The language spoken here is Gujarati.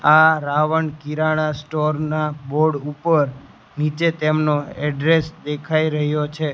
આ રાવણ કિરાણા સ્ટોર ના બોર્ડ ઉપર નીચે તેમનો એડ્રેસ દેખાય રહ્યો છે.